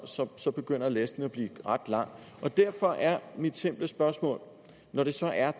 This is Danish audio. så så begynder listen at blive ret lang derfor er mit simple spørgsmål når det så er